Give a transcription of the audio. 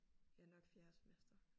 Ja nok fjerde semester